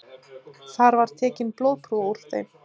Þar var tekin blóðprufa úr þeim